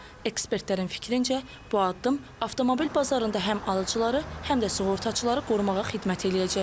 Ekspertlərin fikrincə, bu addım avtomobil bazarında həm alıcıları, həm də sığortaçıları qorumağa xidmət eləyəcək.